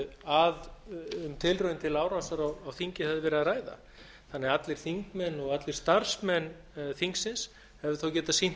að um tilraun til árásar á þingið hefði verið að ræða þannig að allir þingmenn og allir starfsmenn þingsins hefðu þá getað sýnt